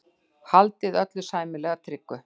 Haldið öllu sæmilega tryggu.